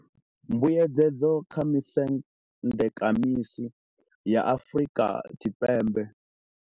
Mbuedzedzo kha vhusendekamisi ya Afrika Tshipembe.